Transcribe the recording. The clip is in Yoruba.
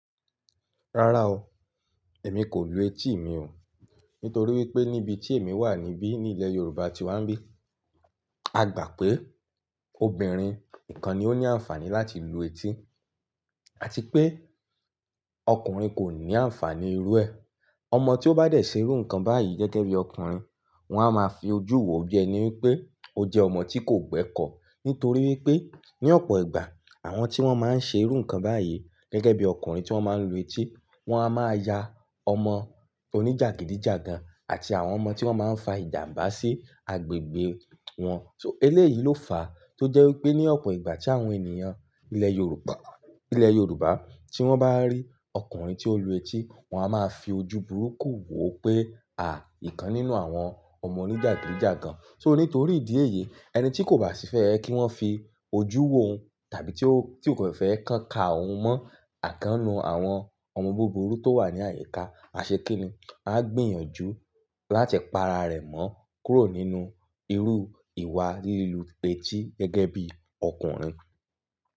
Rárá o, èmi kò lu etí mi o. Nítorí wípé níbi tí èmi wà níbí, ní ilẹ̀ Yorùbá tí wàá ń bí, a gbà pé obìnrin nìkan ni ó ní àǹfààní láti lu etí àti pé ọkùnrin kò ní àǹfàní irú ẹ. Ọmọ tí ó bá dẹ̀ ṣerú nǹkan báyìí gẹ́gẹ́ bí ọkùnrin, wọn a máa fi ojú wò ó bí ẹni pé ó jẹ́ ọmọ tí kò gbẹ́kọ̀ọ́. Nítorí wípé ní ọ̀pọ̀ ìgbà àwọn tí wọ́n máa ń ṣe irú nǹkan báyìí gẹ́gẹ́ bí ọkùnrin tí wọ́n máa ń lu etí, wọn a máa ya ọmọ oníjàgídíjàgan àti àwọn ọmọ tí wọ́n máa ń fa ìjànbá sí agbègbè wọn. So eléyìí ló fàá tó jẹ́ wípé ní ọ̀pọ̀ ìgbà tí àwọn ènìyàn ilẹ̀ Yorùbá, ilẹ̀ Yorùbá tí wọ́n bá rí ọkùnrin tí ó lu etí, wọn a máa fi ojú burúkú wò ó pé, à ìkan nínú àwọn ọmọ oníjàgídíjàgan. So nítorí ìdí èyí ẹni tí kò bá sì fẹ́ kí wọ́n fi ojú wò ó tàbí tí ó, tí kò fẹ́ kàn ka òun mọ́ okan nínú àwọn ọmọ búburú tó wà ní àyíká àṣekínni, a máa gbìyànjú láti pa ara rẹ̀ mọ́ kúrò nínú irú ìwà lílu etí gẹ́gẹ́ bí ọkùnrin.